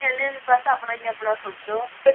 ਕਹਿੰਦੇ ਬਸ ਆਪਣਾ ਆਪਣਾ ਹੀ ਸੋਚੋ